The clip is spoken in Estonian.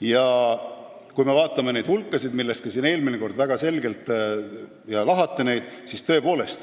Ja kui me vaatame neid hulkasid, millest siin eelmine kord väga selgelt juttu oli, lahkame neid, siis